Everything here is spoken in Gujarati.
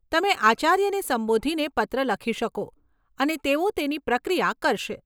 તમે આચાર્યને સંબોધીને પત્ર લખી શકો અને તેઓ તેની પ્રક્રિયા કરશે.